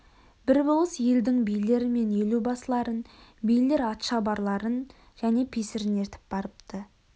бір болыс елдің билері мен елубасыларын билер атшабарларын және песірін ертіп барыпты